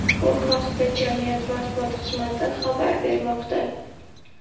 Bu haqda jamiyat matbuot xizmati xabar bermoqda .